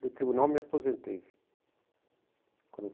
No tribunal me aposentei. Quando